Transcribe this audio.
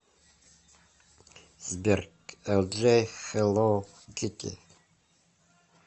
сбер элджей хеллоу китти